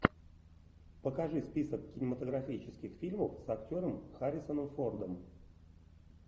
покажи список кинематографических фильмов с актером харрисоном фордом